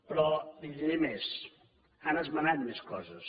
però li diré més han esmenat més coses